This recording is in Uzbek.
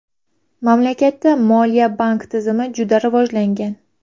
Mamlakatda moliya-bank tizimi juda rivojlangan.